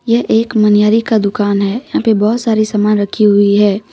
यह एक मन्यारी का दुकान है यहां पे बहुत सारी सामान रखी हुई है।